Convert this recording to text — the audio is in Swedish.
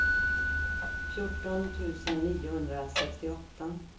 fjorton tusen niohundrasextioåtta